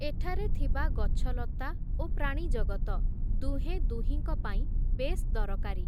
ଏଠାରେ ଥିବା ଗଛଲତା, ଓ ପ୍ରାଣିଜଗତ, ଦୁହେଁ ଦୁହିଁଙ୍କ ପାଇଁ ବେଶ୍ ଦରକାରୀ ।